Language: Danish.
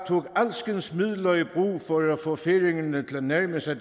tog alskens midler i brug for at få færingerne til at nærme sig